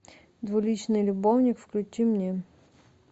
двуличный любовник включи мне